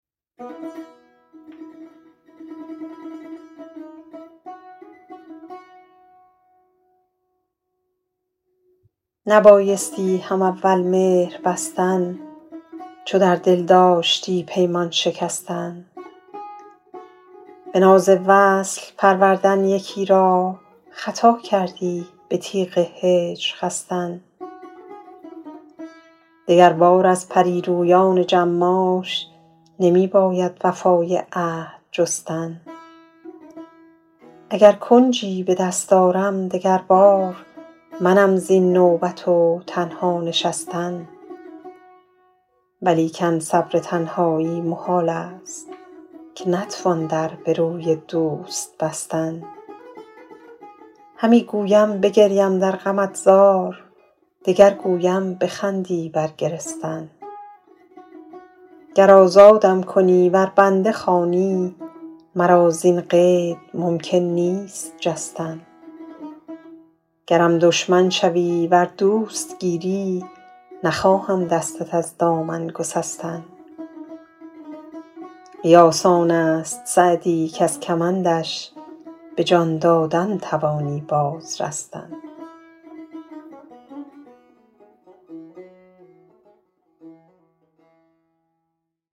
نبایستی هم اول مهر بستن چو در دل داشتی پیمان شکستن به ناز وصل پروردن یکی را خطا کردی به تیغ هجر خستن دگربار از پری رویان جماش نمی باید وفای عهد جستن اگر کنجی به دست آرم دگر بار منم زین نوبت و تنها نشستن ولیکن صبر تنهایی محال است که نتوان در به روی دوست بستن همی گویم بگریم در غمت زار دگر گویم بخندی بر گرستن گر آزادم کنی ور بنده خوانی مرا زین قید ممکن نیست جستن گرم دشمن شوی ور دوست گیری نخواهم دستت از دامن گسستن قیاس آن است سعدی کز کمندش به جان دادن توانی باز رستن